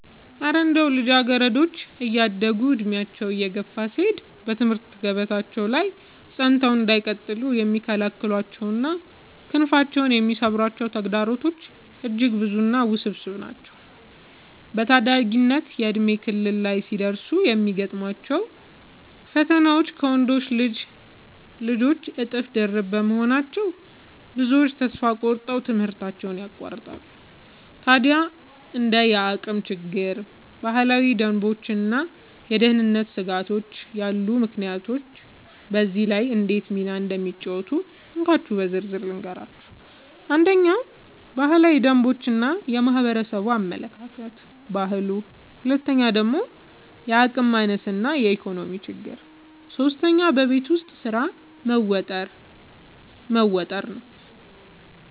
እረ እንደው ልጃገረዶች እያደጉና ዕድሜያቸው እየገፋ ሲሄድ በትምህርት ገበታቸው ላይ ጸንተው እንዳይቀጥሉ የሚከለክሏቸውና ክንፋቸውን የሚሰብሯቸው ተግዳሮቶችማ እጅግ ብዙና ውስብስብ ናቸው! በታዳጊነት የእድሜ ክልል ላይ ሲደርሱ የሚገጥሟቸው ፈተናዎች ከወንዶች ልጆች እጥፍ ድርብ በመሆናቸው፣ ብዙዎቹ ተስፋ ቆርጠው ትምህርታቸውን ያቋርጣሉ። ታዲያ እንደ የአቅም ችግር፣ ባህላዊ ደንቦችና የደህንነት ስጋቶች ያሉ ምክንያቶች በዚህ ላይ እንዴት ሚና እንደሚጫወቱ እንካችሁ በዝርዝር ልንገራችሁ፦ 1. ባህላዊ ደንቦች እና የማህበረሰብ አመለካከት (ባህሉ) 2. የአቅም ማነስ እና የኢኮኖሚ ችግር 3. በቤት ውስጥ ስራ መወጠር መወጠር